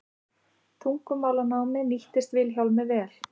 Tungumálanámið nýttist Vilhjálmi vel.